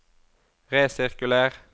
resirkuler